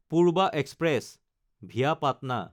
Purva express (via Patna)